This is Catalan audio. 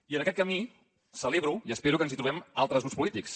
i en aquest camí celebro i espero que ens hi trobem altres grups polítics